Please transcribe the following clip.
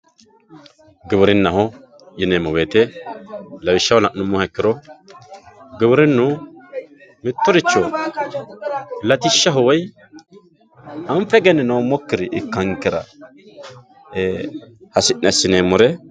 giwirinnaho yineemmo wote lawishshaho la'nummoha ikkiro giwirinnu mittoricho latishshaho woyi anfe egenninoommokkiri ikkankera ee hasi'ne assineemmore.